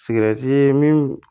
min